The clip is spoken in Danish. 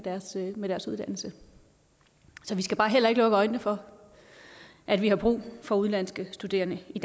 med deres uddannelse så vi skal bare heller ikke lukke øjnene for at vi har brug for udenlandske studerende i